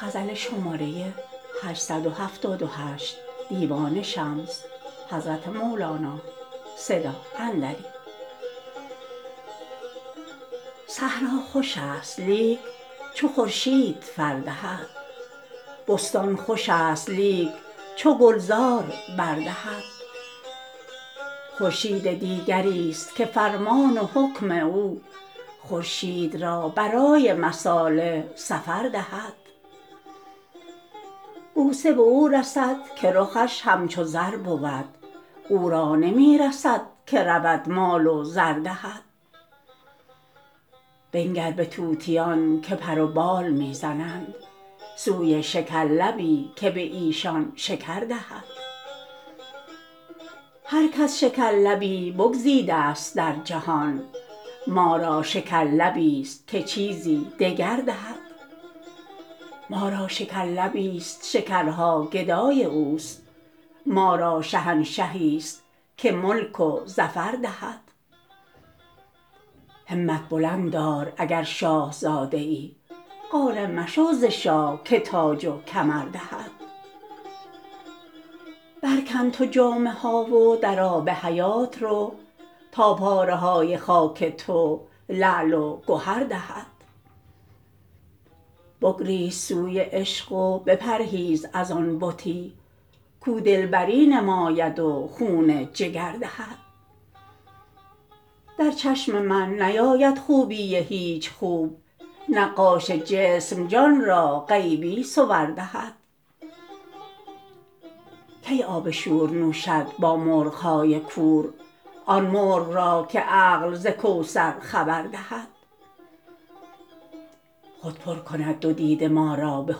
صحرا خوشست لیک چو خورشید فر دهد بستان خوشست لیک چو گلزار بر دهد خورشید دیگریست که فرمان و حکم او خورشید را برای مصالح سفر دهد بوسه به او رسد که رخش همچو زر بود او را نمی رسد که رود مال و زر دهد بنگر به طوطیان که پر و بال می زنند سوی شکرلبی که به ایشان شکر دهد هر کس شکرلبی بگزیده ست در جهان ما را شکرلبیست که چیزی دگر دهد ما را شکرلبیست شکرها گدای اوست ما را شهنشهیست که ملک و ظفر دهد همت بلند دار اگر شاه زاده ای قانع مشو ز شاه که تاج و کمر دهد برکن تو جامه ها و در آب حیات رو تا پاره های خاک تو لعل و گهر دهد بگریز سوی عشق و بپرهیز از آن بتی کو دلبری نماید و خون جگر دهد در چشم من نیاید خوبی هیچ خوب نقاش جسم جان را غیبی صور دهد کی آب شور نوشد با مرغ های کور آن مرغ را که عقل ز کوثر خبر دهد خود پر کند دو دیده ما را به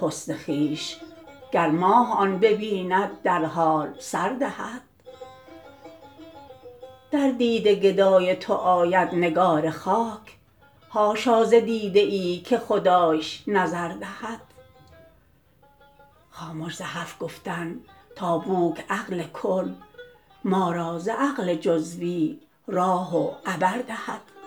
حسن خویش گر ماه آن ببیند در حال سر دهد در دیده گدای تو آید نگار خاک حاشا ز دیده ای که خدایش نظر دهد خامش ز حرف گفتن تا بوک عقل کل ما را ز عقل جزوی راه و عبر دهد